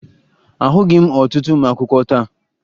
Ahụghị m ọtụtụ ụmụakwụkwọ taa